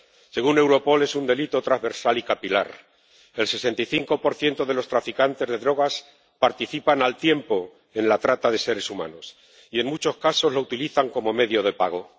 Según Europol, es un delito transversal y capital el 65 de los traficantes de drogas participan al tiempo en la trata de seres humanos y, en muchos casos, lo utilizan como medio de pago.